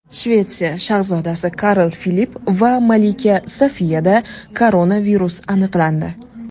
Shvetsiya shahzodasi Karl Filipp va malika Sofiyada koronavirus aniqlandi.